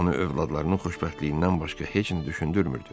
Onu övladlarının xoşbəxtliyindən başqa heç nə düşündürmürdü.